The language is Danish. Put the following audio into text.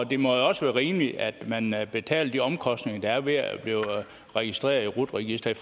det må jo også være rimeligt at man man betaler de omkostninger der er ved at blive registreret i rut registeret